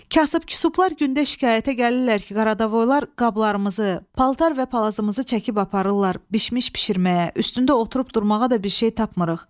Kasıb-kusublar gündə şikayətə gəlirlər ki, qaradavoylar qablarımızı, paltar və palazımızı çəkib aparırlar, bişmiş bişirməyə, üstündə oturub durmağa da bir şey tapmırıq.